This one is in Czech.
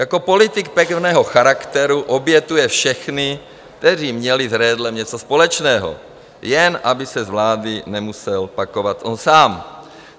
Jako politik pevného charakteru obětuje všechny, kteří měli s Redlem něco společného, jen aby se z vlády nemusel pakovat on sám.